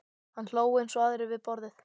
Hann hló eins og aðrir við borðið.